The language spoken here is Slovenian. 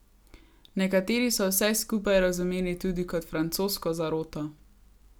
Nekateri so vse skupaj razumeli tudi kot francosko zaroto.